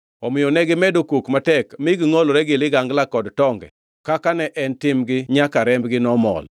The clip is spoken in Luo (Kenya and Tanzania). Omiyo negimedo kok matek mi gingʼolore gi ligangla kod tonge, kaka ne en timgi nyaka rembgi nomol.